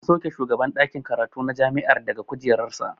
An sauke shugaban ɗakin karatu na jami'a daga kujerar sa.